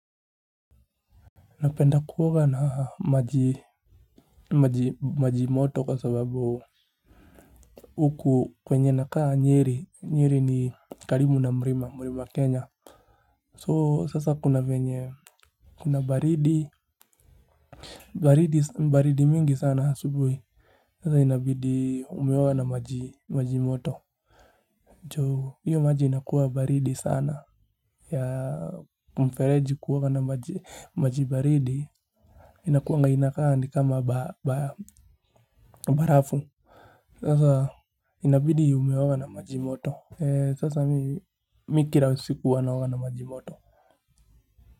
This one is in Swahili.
Napenda kuoga na maji moto kwa sababu huku kwenye nakaa Nyeri ni karibu na mulima, mulima Kenya. So sasa kuna venye kuna baridi mingi sana asubuhi. Sasa inabidi umeoga na maji moto. Juu, hiyo maji inakuwa baridi sana ya mfereji kuoga na maji baridi inakuwanga inakaa ni kama barafu. Sasa inabidi umeoga na maji moto. Sasa mimi kila siku huwa naoga na maji moto.